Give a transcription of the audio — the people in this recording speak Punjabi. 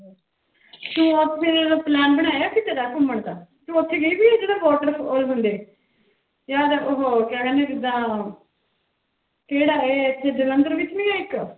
ਤੂੰ ਫਿਰ plan ਬਣਾਇਆ ਕਿਤੇ ਦਾ ਘੁੰਮਣ ਦਾ, ਤੂੰ ਉੱਥੇ ਗਈ ਹੈ ਜਿੱਥੇ water ਉਹ ਹੁੰਦੇ ਯਾਰ ਉਹ ਕਿਆ ਕਹਿੰਦੇ ਜਿੱਦਾਂ ਕਿਹੜਾ ਇਹ ਇੱਥੇ ਜਲੰਧਰ ਵਿੱਚ ਨੀ ਹੈ ਇੱਕ।